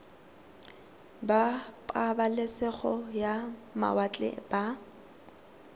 ba pabalesego ya mawatle ba